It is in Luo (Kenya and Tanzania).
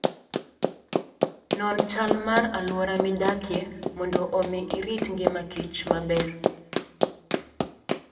Non chal mar alwora midakie mondo omi irit ngima kich maber.